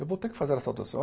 Eu vou ter que fazer a.